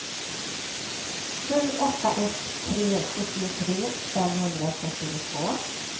sju åtta ett tre sjuttiotre femhundrafyrtiotvå